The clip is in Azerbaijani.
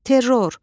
Terror,